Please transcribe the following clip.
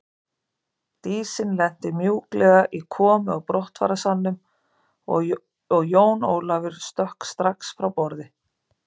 Dísin lenti mjúklega í komu og brottfararsalnum og Jón Ólafur stökk strax frá borði.